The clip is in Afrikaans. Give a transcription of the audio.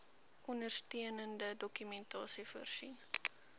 ondersteunende dokumentasie voorsien